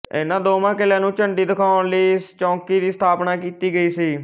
ਇਨ੍ਹਾਂ ਦੋਵਾਂ ਕਿਲ੍ਹਿਆਂ ਨੂੰ ਝੰਡੀ ਦਿਖਾਉਣ ਲਈ ਇਸ ਚੌਕੀ ਦੀ ਸਥਾਪਨਾ ਕੀਤੀ ਗਈ ਸੀ